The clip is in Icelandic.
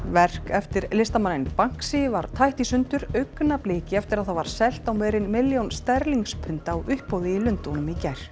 verk eftir listamanninn var tætt í sundur augnabliki eftir að það var selt á meira en milljón sterlingspund á uppboði í Lundúnum í gær